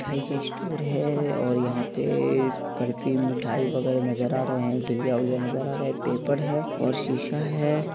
मिठाई का स्टोर है और यहाँ पे बर्फी मिठाई वगैरह नजर आ रहा है चिवड़ा झिलया विल्या नजर आ रहा है पेपर है और शीशा है।